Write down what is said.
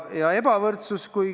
Nüüd ebavõrdsusest.